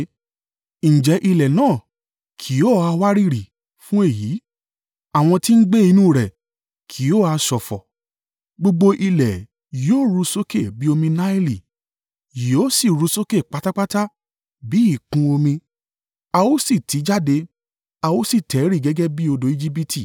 “Ǹjẹ́ ilẹ̀ náà kì yóò ha wárìrì fún èyí? Àwọn tí ń gbé inú rẹ̀ kì yóò ha ṣọ̀fọ̀? Gbogbo ilẹ̀ yóò ru sókè bí omi Naili, yóò sì ru ú sókè pátápátá bí ìkún omi a ó sì tì í jáde, a ó sì tẹ̀ ẹ́ rì gẹ́gẹ́ bí odò Ejibiti.